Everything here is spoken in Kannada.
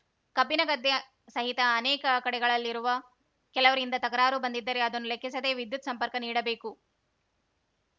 ಕಬ್ಬಿನಗದ್ದೆ ಸಹಿತ ಅನೇಕ ಕಡೆಗಳಲ್ಲಿರುವ ಕೆಲವರಿಂದ ತಕರಾರು ಬಂದಿದ್ದರೆ ಅದನ್ನು ಲೆಕ್ಕಿಸದೇ ವಿದ್ಯುತ್‌ ಸಂಪರ್ಕ ನೀಡಬೇಕು